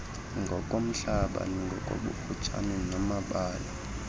ngokomhlaba ngokobufutshane namabala